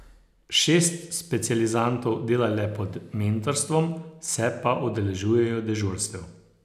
Šest specializantov dela le pod mentorstvom, se pa udeležujejo dežurstev.